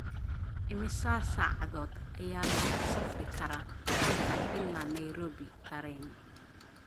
imisa saacadood ayaa looga safri karaa halkan ilaa nairobi tareen